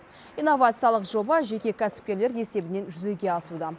инновациялық жоба жеке кәсіпкерлер есебінен жүзеге асуда